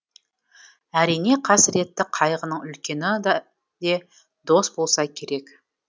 әрине қасіретті қайғының үлкені де дос болса керек